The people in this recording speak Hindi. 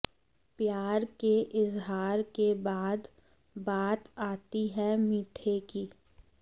प्यार के इजहार के बाद बात आती है मीठे की